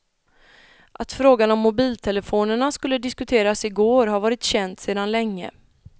Att frågan om mobiltelefonerna skulle diskuteras igår har varit känt sedan länge.